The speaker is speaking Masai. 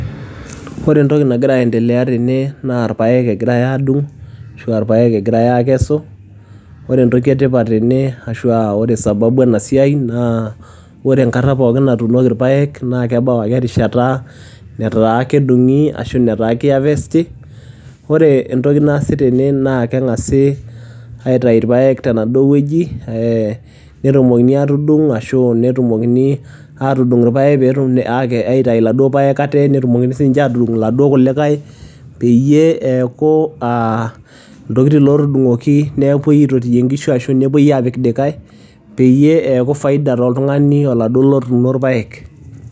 Ore entoki nagira aendelea tene naa ilpaek egirai adung' ashu irpaek egirai aakesu. Ore entoki e tipat tenebashu ore sababu ena siai naa ore enkata pookin natuunoki irpaek naa kebau ake erishata nataa kedung'i ashu ketaa keihafesti. Ore entoki naasita trna naa keng'asi aitayu ilpaek tenaduo wueji, netumokini atudung' ilpaek pee etilakini aitayu iladuo paek ate pee etilakini atudung' laduo kulikai peyie eaku iltokiting' otudung'oki pee epuoi aitotiye inkishu ashu pee epuoi apik likai, peyie eaku faida toltung'ani laduo otuuno ilpaek.